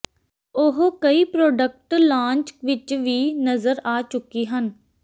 ਉਹ ਕਈ product launch ਵਿੱਚ ਵੀ ਨਜ਼ਰ ਆ ਚੁੱਕੀ ਹਨ